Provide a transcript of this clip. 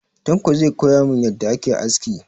Tanko zai koya mun yadda ake aski.